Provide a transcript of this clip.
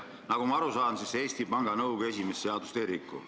Nagu ma aru saan, Eesti Panga Nõukogu esimees seadust ei riku.